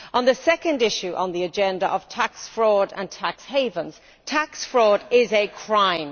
On the second issue on the agenda, tax fraud and tax havens tax fraud is a crime.